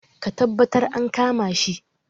Ka taɓattar an kama shi